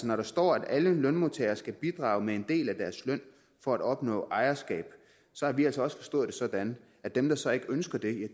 når der står at alle lønmodtagere skal bidrage med en del af deres løn for at opnå ejerskab så har vi altså også forstået det sådan at dem der så ikke ønsker det